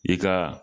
I ka